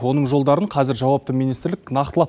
оның жолдарын қазір жауапты министрлік нақтылап